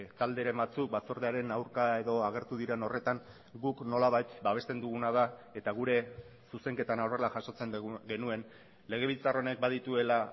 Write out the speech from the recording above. talderen batzuk batzordearen aurka edo agertu diren horretan guk nolabait babesten duguna da eta gure zuzenketan horrela jasotzen genuen legebiltzar honek badituela